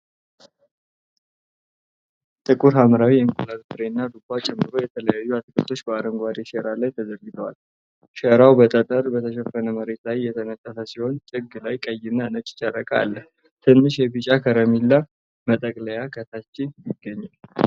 ጥቁር ሐምራዊ የእንቁላል ፍሬና ዱባን ጨምሮ የተለያዩ አትክልቶች በአረንጓዴ ሸራ ላይ ተዘርግፈዋል። ሸራው በጠጠር በተሸፈነ መሬት ላይ የተነጠፈ ሲሆን ጥግ ላይ ቀይና ነጭ ጨርቅ አለ። ትንሽ የቢጫ ከረሜላ መጠቅለያ ከታች ይገኛል።